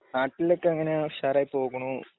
നാട്ടിലൊക്കെ അങ്ങനെ ഉഷാറായി പോകണു